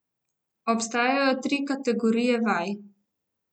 Obstajajo tri kategorije vaj.